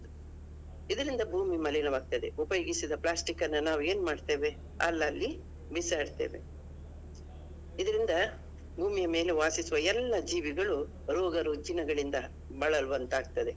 ಇದರಿಂದ ಭೂಮಿ ಮಲೀನವಾಗ್ತಿದೆ. ಉಪಯೋಗಿಸಿದ plastic ಅನ್ನ ನಾವು ಏನ್ಮಾಡ್ತೇವೆ? ಅಲ್ಲಲ್ಲಿ ಬಿಸಾಡ್ತೇವೆ. ಇದರಿಂದ ಭೂಮಿಯ ಮೇಲೆ ವಾಸಿಸುವ ಎಲ್ಲಾ ಜೀವಿಗಳು ರೋಗರುಜಿನಗಳಿಂದ ಬಳಲುವಂತಾಗ್ತದೆ.